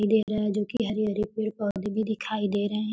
दे रहा है जो की है हरी-हरी पेड़-पौधे भी दिखाई दे रहे हैं।